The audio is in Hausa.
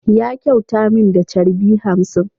Ya kyauta min da charbi hamsin.